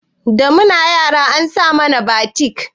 Da muna yara an saya mana batik